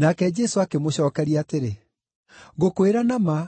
Nake Jesũ akĩmũcookeria atĩrĩ, “Ngũkwĩra na ma,